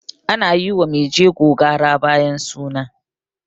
ana yi wa maijego gara bayan suna